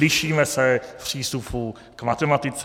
Lišíme se v přístupu k matematice.